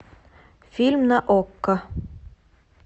фильм на окко